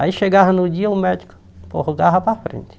Aí chegava no dia, o médico prorrogava para frente.